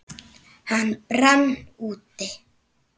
Hann brann út.